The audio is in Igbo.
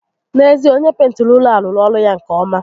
N'eziokwu, onyé pentiri ụlọ a rụrụ ọrụ ya nke ọ́má